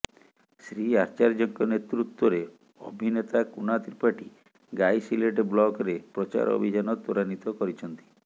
ଶ୍ରୀ ଆଚାର୍ଯ୍ୟଙ୍କ ନେତୃତ୍ୱରେ ଅଭିନେତା କୁନା ତ୍ରିପାଠୀ ଗାଇସିଲେଟ ବ୍ଲକରେ ପ୍ରଚାର ଅଭିଯାନ ତ୍ୱରାନ୍ବିତ କରିଛନ୍ତି